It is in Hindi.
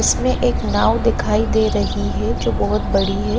इसमें एक नाव दिखाई दे रही है जो बहुत बड़ी है।